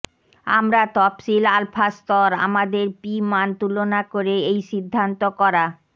আমরা তফসিল আলফা স্তর আমাদের পি মান তুলনা করে এই সিদ্ধান্ত করা